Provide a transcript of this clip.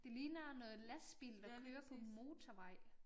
Det ligner noget lastbil der kører på motorvej